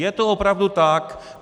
Je to opravdu tak.